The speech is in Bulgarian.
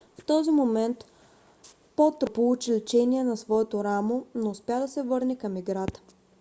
в този момент потро получи лечение на своето рамо но успя да се върне към играта